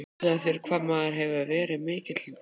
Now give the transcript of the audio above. Hugsaðu þér hvað maður hefur verið mikið barn.